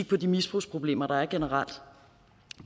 på de misbrugsproblemer der er generelt